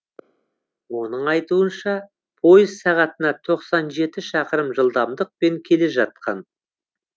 оның айтуынша пойыз сағатына тоқсан жеті шақырым жылдамдықпен келе жатқан